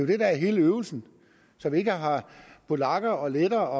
det der er hele øvelsen så vi ikke har polakker lettere